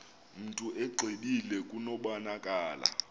mntu exwebile kubonakala